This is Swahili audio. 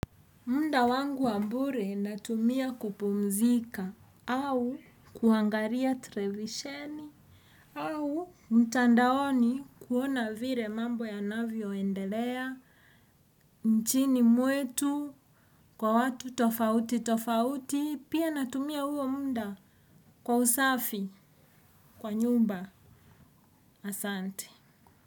Muda wangu wa bure natumia kupumzika au kuangalia televisheni au mtandaoni kuona vile mambo yanavyoendelea nchini mwetu kwa watu tofauti tofauti pia natumia huo muda kwa usafi kwa nyumba asante.